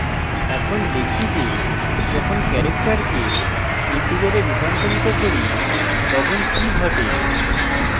এখন দেখি যে যখন character কে integer a রূপান্তরিত করি তখন কি ঘটে